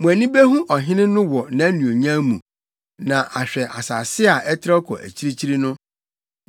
Mo ani behu ɔhene no wɔ nʼanuonyam mu na ahwɛ asase a ɛtrɛw kɔ akyirikyiri no.